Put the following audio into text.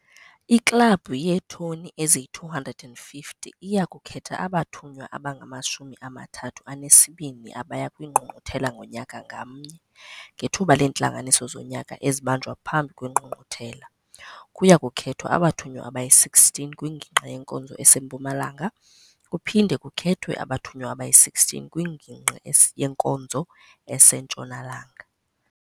'IKlabhu yeeToni eziyi-250 iya kukhetha abathunywa abangamashumi amathathu anesibini abaya kwiNgqungquthela ngonyaka ngamnye, ngethuba leentlanganiso zonyaka ezibanjwa phambi kweNgqungquthela. Kuya kukhethwa abathunywa abayi-16 kwingingqi yenkonzo eseMpumalanga kuphinde kukhethwe abathunywa abayi-16 kwingingqi yenkonzo eseNtshonalanga.